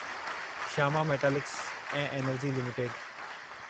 Shyam Metalics ऐं Energy limited